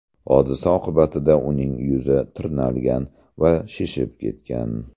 Hodisa oqibatida uning yuzi tirnalgan va shishib ketgan.